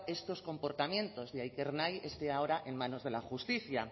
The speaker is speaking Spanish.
estos comportamientos de ahí que ernai esté ahora en manos de la justicia